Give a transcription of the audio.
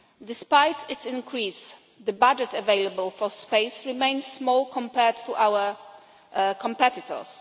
Despite its increase, the budget available for space remains small compared to our competitors.